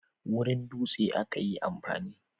wurin dutsen aka yi amfani